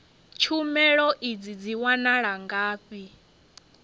tshumelo idzi dzi wanala ngafhi